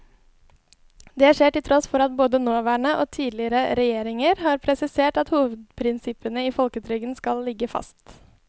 Det skjer til tross for at både nåværende og tidligere regjeringer har presisert at hovedprinsippene i folketrygden skal ligge fast.